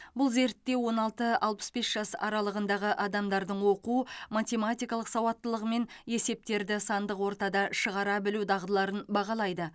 бұл зерттеу он алты алпыс бес жас аралығындағы адамдардың оқу математикалық сауаттылығы мен есептерді сандық ортада шығара білу дағдыларын бағалайды